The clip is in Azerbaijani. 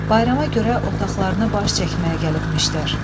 Bayrama görə otaqlarına baş çəkməyə gəlibmişdilər.